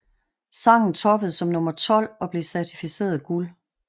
Sangen toppede som nummer 12 og blev certificeret guld